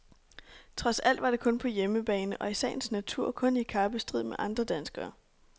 Trods alt var det kun på hjemmebane og i sagens natur kun i kappestrid med andre danskere.